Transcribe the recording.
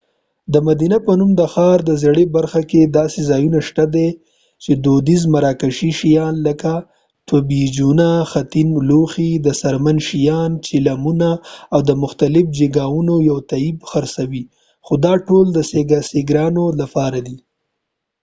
د مدینه په نوم د ښار زړې برخه کې داسې ځایونه شته چې دودیز مراکشي شیان لکه طجینونه خټین لوښي د څرمنې شیان چیلمونه او د مختلفو جیګاوونو یو طیف خرڅوي خو دا ټول د سېګرانو لپاره دي